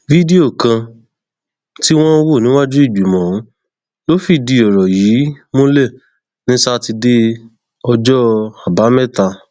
lẹyìn ìwádìí wọn yóò taari rẹ síwájú adájọ kí wọn lè kàwé òfin sí i létí dáadáa